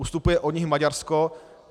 Ustupuje od nich Maďarsko.